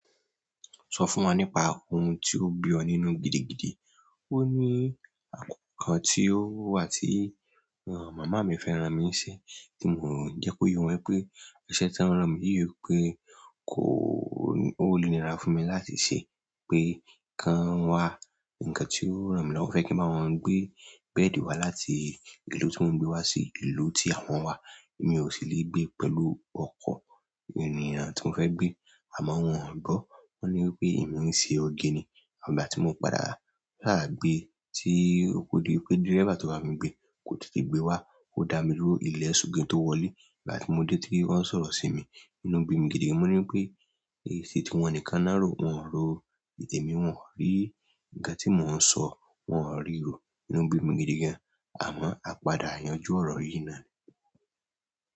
Sọ fún wa nípa ohun tí ó bí ọ nínú gidigidi. Ó ní, àkọ́kọ́ tí ó wà tí, rárán, màmá mi fẹ́ran mi ṣe tí mo jẹ́ kó yọ wípé ẹsẹ̀ tí wón ràn mí yìí pé kó, ó léni rá fún mi láti ṣe pé, kan wá ǹkan tí ó ràn mí lọ́wọ́ fẹ́ kí n máa wọ́n gbé bẹ́ẹ̀dì wá láti ìlú tí wọ́n gbé wá sí ìlú tí àwọn wà. Èmi ò sí lè gbé pẹ̀lú ọkọ̀ ènìyàn tí mò ń fẹ́ gbé àmọ́ wọ́n ò gbọ́. Wọ́n ní wípé èmi ń ṣe oge ni àgbà tí mò ń padà. Láàgbé tí oko di pé dírébà tí wàá fi gbé kò tètè gbé wá, ó da mí rú ilẹ̀ ṣú kí n tó wọlé. Ìgbà tí mo dé tí wọ́n ń sọ̀rọ̀ sí mi, inú bí mi gidi mò ní wípé èyí sì ti wọn ní ká nárò, wọ́n ò ro. Èmi mi wọn ò rí. Nǹkan tí mò ń sọ wọ́n ò ri rò. Inú bí mi gidi gan-an, àmọ́ a padà yanjú ọ̀rọ̀ yìí náà ni.